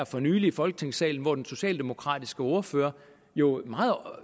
for nylig i folketingssalen hvor den socialdemokratiske ordfører jo meget